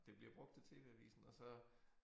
Det bliver brugt til tv-avisen og så